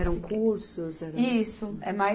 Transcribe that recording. Eram cursos? Eram. Isso, é mais